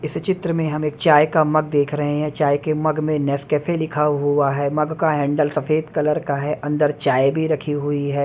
इस चित्र में हम एक चाय का मग देख रहे हैं चाय के मग में नेसकैफे लिखा हुआ है मग का हैंडल सफेद कलर का है अंदर चाय भी रखी हुई है।